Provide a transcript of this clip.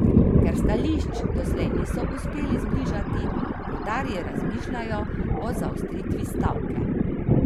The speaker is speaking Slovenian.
Ker stališč doslej niso uspeli zbližati, rudarji razmišljajo o zaostritvi stavke.